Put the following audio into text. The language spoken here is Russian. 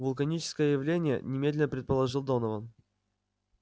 вулканические явления немедленно предположил донован